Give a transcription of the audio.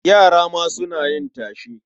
Yara ma suna yin tashe.